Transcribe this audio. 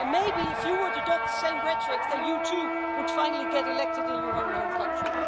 Maybe if you were to adopt the same rhetoric, then you too would finally get elected in your own home country.